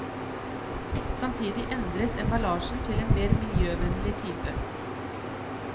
Samtidig endres emballasjen til en mer miljøvennlig type.